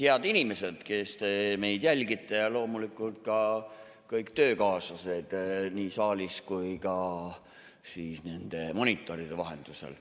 Head inimesed, kes te meid jälgite, ja loomulikult ka kõik töökaaslased nii saalis kui ka nende monitoride vahendusel.